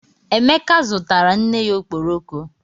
Emeka zụtara nne ya ọkpọrọko